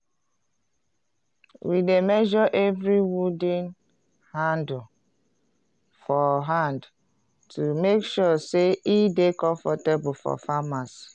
we dey measre evri wooden handle for hand to make sure say e dey comfortable for farmers.